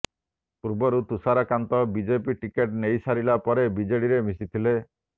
ପୂର୍ବରୁ Tusharkanta BJP ticket ନେଇସାରିଲା ପରେ ବିଜେଡିରେ ମିଶିଥିଲେ